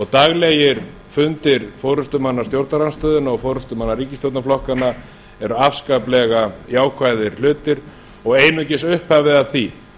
daglegir fundir forustumanna stjórnarandstöðunnar og forustumanna ríkisstjórnarflokkanna eru afskaplega jákvæðir hlutir og einungis upphafið að því